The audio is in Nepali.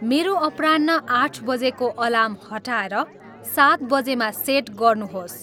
मेरो अपराह्न आठ बजेको अलार्म हटाएर सात बजेमा सेट गर्नुहोस्